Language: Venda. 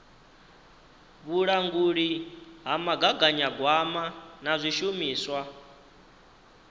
vhulanguli ha mugaganyagwama na zwishumiswa